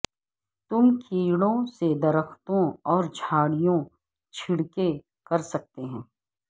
تم کیڑوں سے درختوں اور جھاڑیوں چھڑکیں کر سکتے ہیں